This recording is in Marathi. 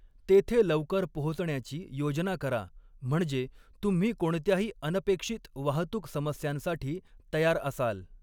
तेथे लवकर पोहोचण्याची योजना करा म्हणजे तुम्ही कोणत्याही अनपेक्षित वाहतूक समस्यांसाठी तयार असाल.